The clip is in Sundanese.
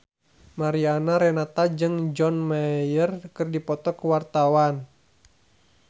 Mariana Renata jeung John Mayer keur dipoto ku wartawan